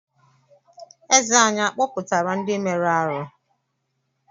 Eze anyị a kpọpụtara ndị mere arụ́?